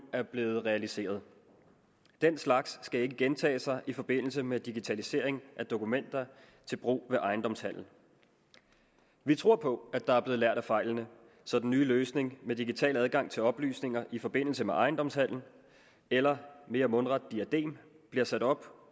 er blevet realiseret den slags skal ikke gentage sig i forbindelse med digitalisering af dokumenter til brug ved ejendomshandel vi tror på at der er blevet lært af fejlene så den nye løsning med digital adgang til oplysninger i forbindelse med ejendomshandel eller mere mundret diadem bliver sat op